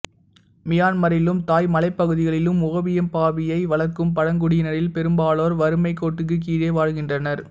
மியான்மரிலும் தாய் மலைப்பகுதிகளிலும் ஓபியம் பாப்பியை வளர்க்கும் பழங்குடியினரில் பெரும்பாலோர் வறுமைக் கோட்டுக்குக் கீழே வாழ்கின்றனர்